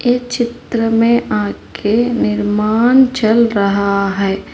इस चित्र में आगे निर्माण चल रहा है।